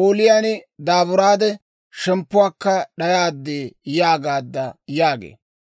ooliyaan daaburaade shemppuwaakka d'ayaad» yaagaadda› yaagee.